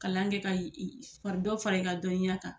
Kalan kɛ i i ka dɔ fara i ka dɔnniya kan.